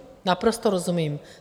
Naprosto rozumím.